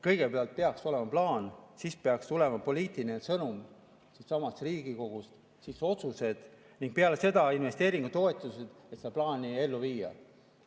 Kõigepealt peaks olema plaan, siis peaks tulema poliitiline sõnum siitsamast Riigikogust, siis otsused ning peale seda investeeringutoetused, et seda plaani ellu viia.